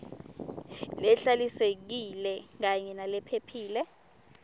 lehlalisekile kanye nalephephile